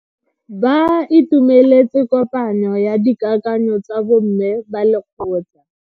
Ba itumeletse kopanyo ya dikakanyo tsa bo mme ba lekgotla.